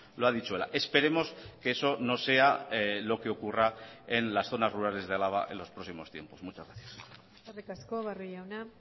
lo ha dicho ela esperemos que eso no sea lo que ocurra en las zonas rurales de álava en los próximos tiempos muchas gracias eskerrik asko barrio jauna